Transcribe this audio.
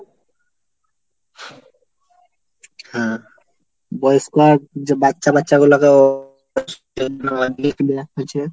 হ্যাঁ বয়স্ক আর যে বাচ্চা বাচ্চাগুলোকে হয়েছে।